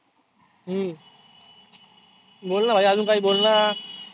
हम्म बोलना भाई आजुन काही बोलना.